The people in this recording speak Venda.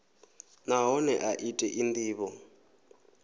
nahone a i tei ndivho